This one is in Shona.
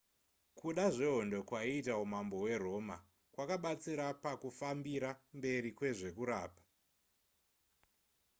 kuda zvehondo kwaiita umambo hweroma kwakabatsira pakufambira mberi kwezvekurapa